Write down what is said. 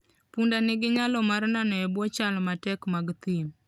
Punda nigi nyalo mar nano e bwo chal matek mag thim.